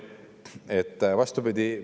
Vastupidi?